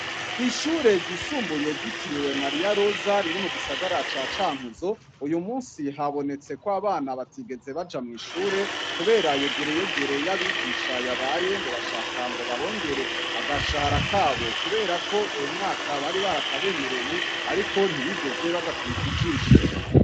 Ku ishure ryisumbuye ryitiriwe mariya rosa riri mu gisagara ca Cankuzo uyu munsi habonetse ko abana batigeze baja mw'ishure kubera yegereyegere y'abigisha yabaye ngo bashaka ngo babongere agashahara kabo kubera ko uwo mwaka bari barakabemereye ariko ntibigeze bagakubita ijisho.